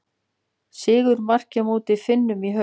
Sigurmarkið á móti Finnum í haust.